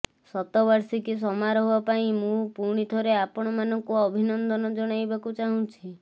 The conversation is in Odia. ଶତବାର୍ଷିକୀ ସମାରୋହ ପାଇଁ ମୁଁ ପୁଣିଥରେ ଆପଣମାନଙ୍କୁ ଅଭିନନ୍ଦନ ଜଣାଇବାକୁ ଚାହୁଁଛି